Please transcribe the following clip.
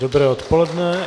Dobré odpoledne.